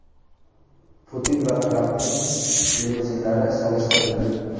Putin va Trampning limuzinlari solishtirildi.